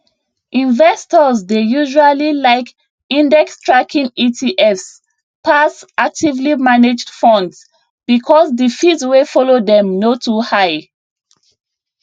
investors dey usually like indextracking etfs pass actively managed funds because the fees wey follow dem no too high